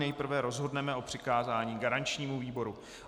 Nejprve rozhodneme o přikázání garančnímu výboru.